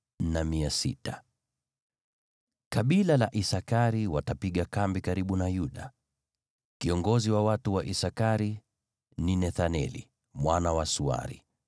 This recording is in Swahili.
Kabila la Isakari watapiga kambi karibu na Yuda. Kiongozi wa watu wa Isakari ni Nethaneli mwana wa Suari.